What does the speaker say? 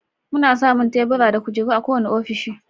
Muna samun Tebura da kujeru a kowane ofishi.